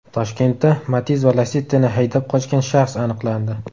Toshkentda Matiz va Lacetti’ni haydab qochgan shaxs aniqlandi.